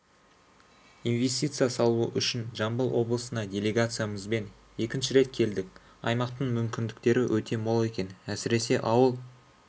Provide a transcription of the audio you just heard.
инвестиция салу үшін жамбыл облысына делегациямызбен екінші рет келдік аймақтың мүмкіндіктері өте мол екен әсіресе ауыл